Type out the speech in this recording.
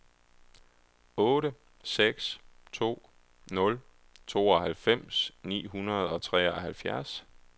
otte seks to nul tooghalvfems ni hundrede og treoghalvfjerds